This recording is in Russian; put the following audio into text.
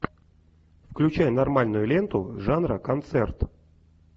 включай нормальную ленту жанра концерт